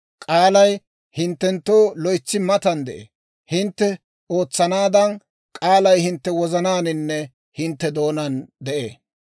K'aalay hinttenttoo loytsi matan de'ee; hintte ootsanaadan, k'aalay hintte wozanaaninne hintte doonaan de'ee.